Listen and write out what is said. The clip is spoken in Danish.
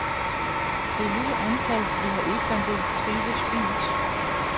Det lille antal, vi har udplantet, trives fint.